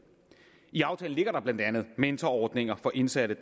i aftalen ligger der blandt andet mentorordninger for indsatte